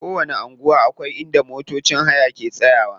Kowanni anguwa akwai inda motocin haya ke tsayawa.